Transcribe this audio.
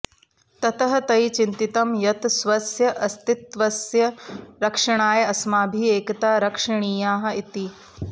ततः तैः चिन्तितं यत् स्वस्य अस्तित्वस्य रक्षणाय अस्माभिः एकता रक्षणीया इति